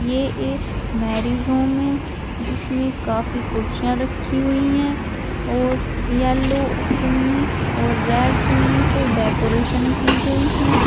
ये एक marriage home है जिसमे काफी कुर्सियां रखी हुई हैं और येलो चुन्नी और रेड चुन्नी से डेकोरेशन की गई है।